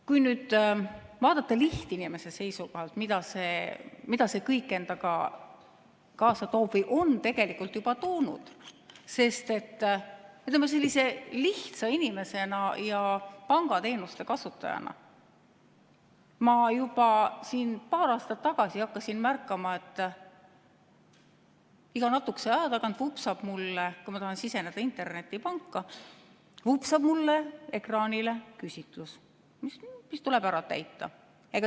Kui vaadata lihtinimese seisukohalt, mida see kõik endaga kaasa toob või on tegelikult juba toonud, siis sellise lihtsa inimesena ja pangateenuste kasutajana ma juba paar aastat tagasi hakkasin märkama, et iga natukese aja tagant, kui ma tahan siseneda internetipanka, vupsab mulle ekraanile küsitlus, mis tuleb täita.